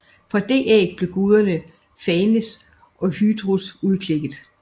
Fra det æg blev guderne Phanes og Hydrus udklækket